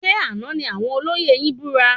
Ṣe àna ní àwọn olóyè yin búra?